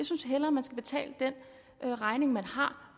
synes hellere man skal betale den regning man har